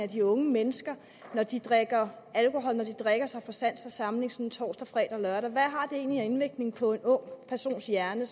de unge mennesker når de drikker drikker sig fra sans og samling sådan torsdag fredag og lørdag hvad har det egentlig af indvirkning på en ung persons hjerne